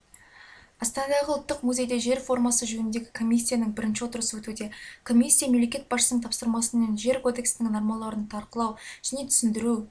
астанадағы ұлттық музейде жер реформасы жөніндегі комиссияның бірінші отырысы өтуде комиссия мемлекет басшысының тапсырмасымен жер кодексінің нормаларын талқылау мен түсіндіру және